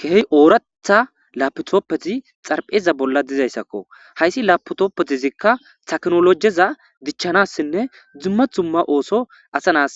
keheh ooratha laputooppeti xarpheza bolla dizayssakko hayssi laputoppetizikka taknolojeza dichchanassinne dzumma dzumma ooso asa nas